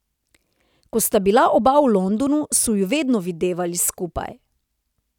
Ko sta bila oba v Londonu, so ju vedno videvali skupaj.